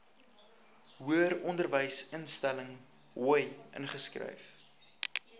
hoëronderwysinstelling hoi ingeskryf